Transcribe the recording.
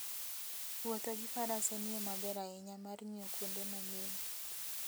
Wuotho gi Faras en yo maber ahinya mar ng'iyo kuonde manyien.